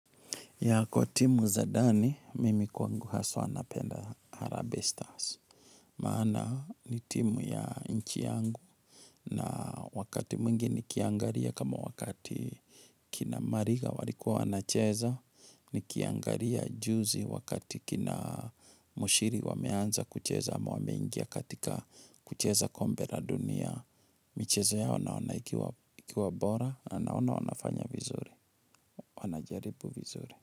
Ya kwa timu za ndani, mimi kwangu haswa napenda Harambee Stars. Maana ni timu ya nchi yangu na wakati mwingi nikiangalia kama wakati kina Mariga walikuwa wanacheza, nikiangalia juzi wakati kina Muchiri wameanza kucheza ama wameingia katika kucheza kombe la dunia. Michezo yao naona ikiwa bora, na naona wanafanya vizuri, wanajaribu vizuri.